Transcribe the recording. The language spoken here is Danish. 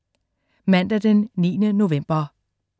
Mandag den 9. november